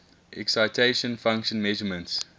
excitation function measurements